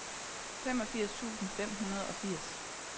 femogfirs tusind fem hundrede og firs